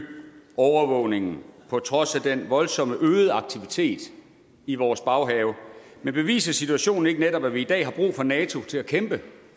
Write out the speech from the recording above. overvågningen på trods af den voldsomt øgede aktivitet i vores baghave men beviser situationen netop ikke at vi i dag har brug for nato til at kæmpe